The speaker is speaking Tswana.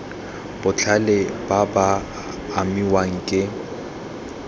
botlhe ba ba amiwang ke